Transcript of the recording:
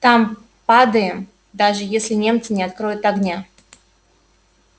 там падаем даже если немцы не откроют огня